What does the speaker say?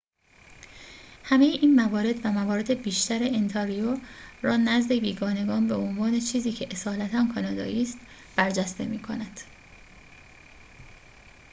همه این موارد و موارد بیشتر انتاریو را نزد بیگانگان به عنوان چیزی که اصالتاً کانادایی است برجسته می‌کند